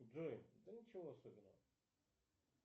джой да ничего особенного